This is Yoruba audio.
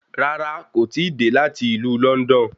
Rárá, kò tíì dé láti ìlú Lọ́ndọ̀n